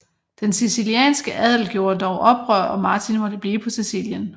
Den sicilianske adel gjorder dog oprør og Martin måtte blive på Sicilien